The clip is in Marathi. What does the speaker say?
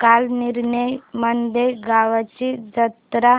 कालनिर्णय मध्ये गावाची जत्रा